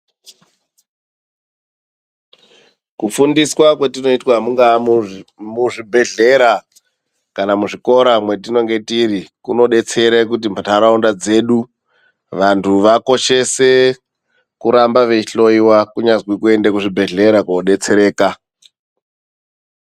Kufundiswa kwetinoitwa mungaa muzvibhedhlera kana muzvikora mwetinonge tiri kunodetsere kuti ntaraunda dzedu vantu vakoshese kuramba veihloiwa kunyazwi kuende kuzvibhedhlera koodetsereka.